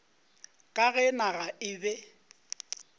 ka ge naga e be